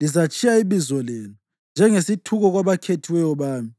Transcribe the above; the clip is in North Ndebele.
Lizatshiya ibizo lenu njengesithuko kwabakhethiweyo bami;